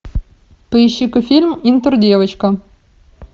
поищи ка фильм интердевочка